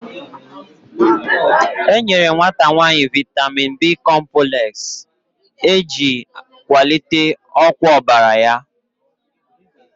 E nyere nwata nwanyị Vaitamin B kompulex, e ji kwalite ọkwa ọbara ya